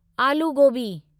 आलू गोबी